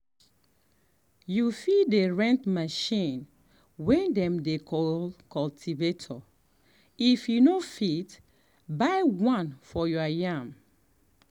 you fit rent machine um way dem dey call cultivator if you no fit um buy um one for your farm.